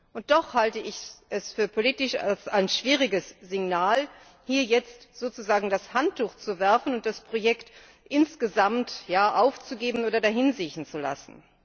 Und doch halte ich es für ein politisch schwieriges Signal, hier jetzt sozusagen das Handtuch zu werfen und das Projekt insgesamt aufzugeben oder dahinsiechen zu lassen.